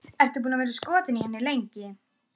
Ertu búinn að vera skotinn í henni lengi?